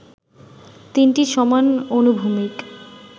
তিনটি সমান অনুভূমিক